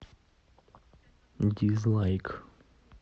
дизлайк